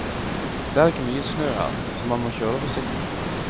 Det er ikke mye snø her, så man må kjøre forsiktig.